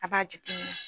A b'a jateminɛ